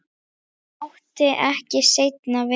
Það mátti ekki seinna vera!